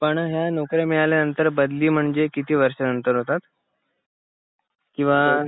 पण या नौकऱ्या मिळाल्या नंतर बदली म्हणजे किती वर्षानंतर होतात किंवा